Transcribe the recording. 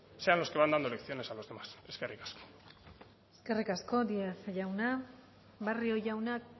sean los que van dando lecciones a los demás eskerrik asko eskerrik asko díez jauna barrio jaunak